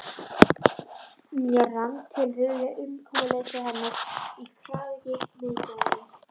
Mér rann til rifja umkomuleysi hennar í kraðaki miðbæjarins.